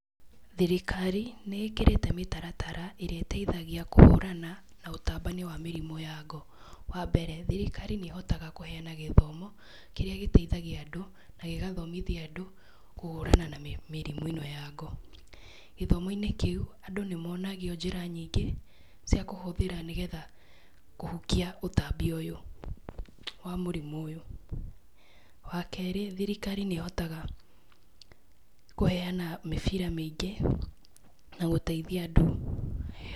Thirikari nĩ ĩkĩrĩte mĩtaratara ĩrĩa ĩteithagia kũhũrana na ũtambanio wa mĩrimũ ya ngo. Wambere thirikari nĩ hotaga kũheana gĩthomo kĩrĩa gĩteithagia andũ na gĩgathomithia andũ kũhũrana na mĩrimũ ĩno ya ngo. Gĩthomo- inĩ kĩu andũ nĩmonagio na njĩra nyingĩ cia kũhũthĩra kũhukia ũtambi ũyũ wa mũrimũ ũyũ wa kere thirikari nĩ hotaga kũheana mĩbira mĩingĩ na gũteithia andũ.